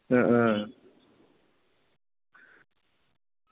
അഹ് ആഹ്